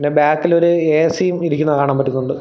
പിന്നെ ബാക്കിലൊരു എ_സി യും ഇരിക്കുന്ന കാണാൻ പറ്റുന്നുണ്ട്.